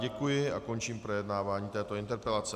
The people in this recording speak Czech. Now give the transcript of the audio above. Děkuji a končím projednávání této interpelace.